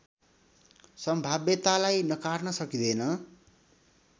सम्भाव्यतालाई नकार्न सकिँदैन